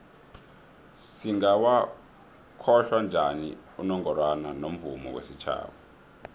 singawokhohla njani unongorwana womvumo wesitjhaba